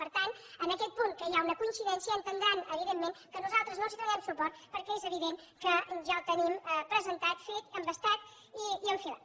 per tant en aquest punt que hi ha una coincidència entendran evidentment que nosaltres no els donem suport perquè és evident que ja el tenim presentat fet embastat i enfilat